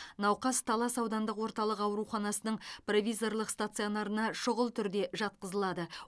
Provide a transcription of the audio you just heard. науқас талас аудандық орталық ауруханасының провизорлық стационарына шұғыл түрде жатқызылады